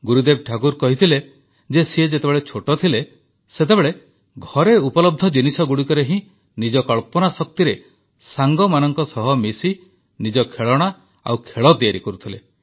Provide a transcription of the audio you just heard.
ଗୁରୁଦେବ ଠାକୁର କହିଥିଲେ ଯେ ସେ ଯେତେବେଳେ ଛୋଟ ଥିଲେ ସେତେବେଳେ ଘରେ ଉପଲବ୍ଧ ଜିନିଷଗୁଡ଼ିକରେ ହିଁ ନିଜ କଳ୍ପନା ଶକ୍ତିରେ ସାଙ୍ଗମାନଙ୍କ ସହ ମିଶି ନିଜ ଖେଳଣା ଓ ଖେଳ ତିଆରି କରୁଥିଲେ